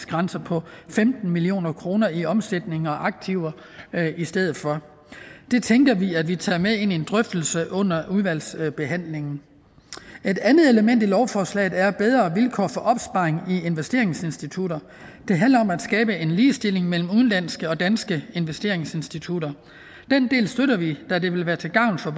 grænse på femten million kroner i omsætning og aktiver i stedet for det tænker vi at vi tager med ind i en drøftelse under udvalgsbehandlingen et andet element i lovforslaget er bedre vilkår for opsparing i investeringsinstitutter det handler om at skabe en ligestilling mellem udenlandske og danske investeringsinstitutter den del støtter vi da det vil være til gavn for